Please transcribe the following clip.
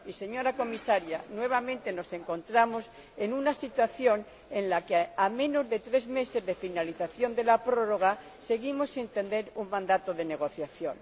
Y, señora Comisaria, nuevamente nos encontramos en una situación en la que, a menos de tres meses de la finalización de la prórroga, seguimos sin tener un mandato de negociación.